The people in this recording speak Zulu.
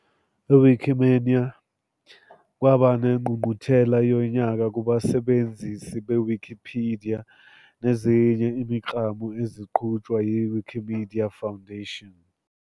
Wikimania, kwaba nengqungquthela yonyaka kubasebenzisi of Wikipedia nezinye imiklamo eziqhutshwa yi-Wikimedia Foundation